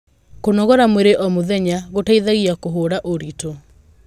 Kunoogora mwĩrĩ o mũthenya gũteithagia kuhura uritu